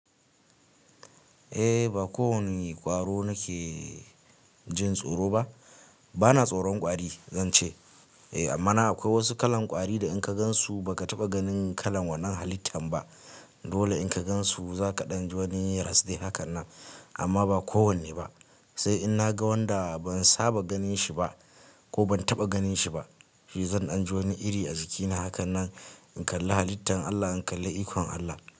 Eh ba kowani ƙwaro nake jin tsoro ba. Bana tsoron ƙwari zan ce. Eh amma na akwai wasu kalan ƙwari da in ka gansu ba ka taɓa ganin kalan wannan halittan ba. Dole in ka gansu za ka ɗan jiwani ras de hakan nan. Amma ba kowanne ba. Sai in naga wanda ban saba ganin shi ba ko ban taɓa ganin shi ba, shi zan ɗan ji wani iri a jikina hakan nan in kalla halittan Allah, in kalla ikon Allah.